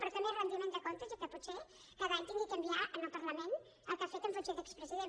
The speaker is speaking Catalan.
però també rendiment de comptes i que potser cada any hagi d’enviar al parlament el que ha fet en funció d’expresident